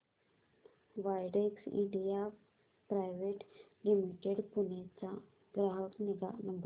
Widex India private limited Pune चा ग्राहक निगा नंबर